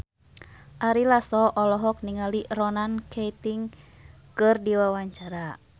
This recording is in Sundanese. Ari Lasso olohok ningali Ronan Keating keur diwawancara